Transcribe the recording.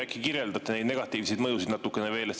Äkki kirjeldate neid negatiivseid mõjusid natukene veel?